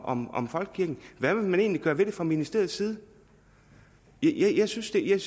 om om folkekirken hvad vil man egentlig gøre ved det fra ministeriets side jeg synes det er